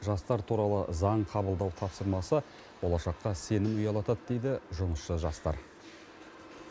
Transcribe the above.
жастар туралы заң қабылдау тапсырмасы болашаққа сенім ұялатады дейді жұмысшы жастар